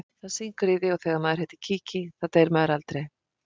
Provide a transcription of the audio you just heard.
Það syngur í því og þegar maður heitir Kiki þá deyr maður aldrei.